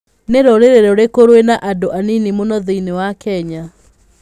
Nĩ rũrĩrĩ rũrĩkũ rwĩna andũ anini mũno thĩinĩ wa Kenya?